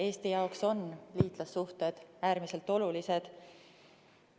Eesti jaoks on liitlassuhted äärmiselt olulised.